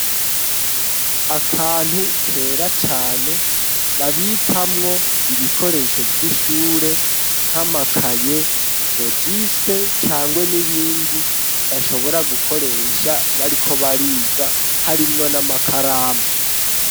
Akantu kera cane babikamwo ibikoresho vy'ishure nk'amakaye rogisite cangwe nibindi bashobora gukoresha bariko bariga harimwo n'amakaramu.